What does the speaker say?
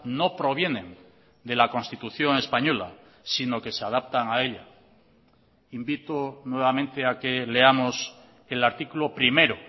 no provienen de la constitución española sino que se adaptan a ella invito nuevamente a que leamos el artículo primero